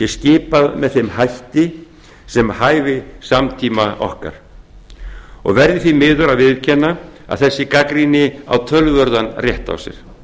skipað með þeim hætti sem hæfi samtíma okkar ég verð því miður að viðurkenna að þessi gagnrýni á töluverðan rétt á sér